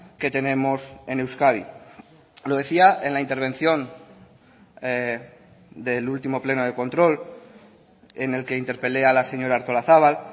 que tenemos en euskadi lo decía en la intervención del último pleno de control en el que interpele a la señora artolazabal